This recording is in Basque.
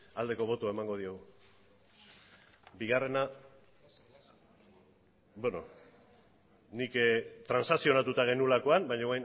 aldeko botoa emango diogu bigarrena nik transakzionatuta genuelakoan baina